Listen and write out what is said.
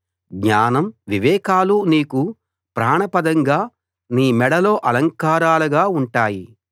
జ్ఞానం వివేకాలు నీకు ప్రాణప్రదంగా నీ మెడలో అలంకారాలుగా ఉంటాయి